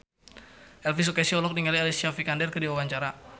Elvi Sukaesih olohok ningali Alicia Vikander keur diwawancara